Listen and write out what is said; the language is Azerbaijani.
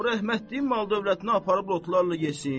O rəhmətliyin mal-dövlətini aparıb lotlarla yesin.